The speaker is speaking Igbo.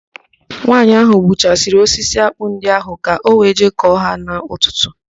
Nwaanyị ahụ gbuchasịrị osisi ákpụ́ ndị ahụ ka ọ wee jee kọọ ha n'ụtụtụ.